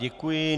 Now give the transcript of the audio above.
Děkuji.